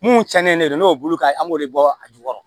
Mun cɛnnen de don n'o bolo ka an b'o de bɔ a jukɔrɔ